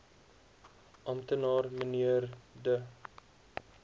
amptenaar mnr de